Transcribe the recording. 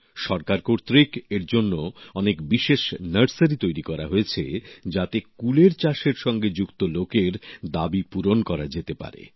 সরকারী উদ্যোগে এর জন্য অনেক বিশেষ নার্সারি তৈরি করা হয়েছে যাতে কুলের চাষের সঙ্গে যুক্ত লোকের দাবি পূরণ করা যেতে পারে